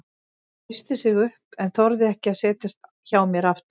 Hann reisti sig upp en þorði ekki að setjast hjá mér aftur.